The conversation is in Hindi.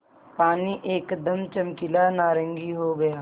पानी एकदम चमकीला नारंगी हो गया